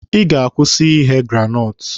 Ị ga-akwụsị ighe granọtụ!